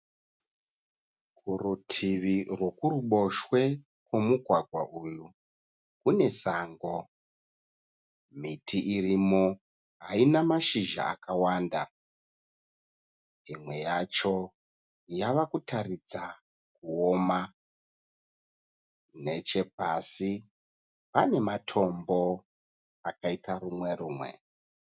Kurutivi rwokuruboshwe komugwagwa uyu kune sango miti irimo haina mashizha akawanda imwe yacho yava kutaridza kuoma nechepasi pane matombo akaita rumwe rumwe.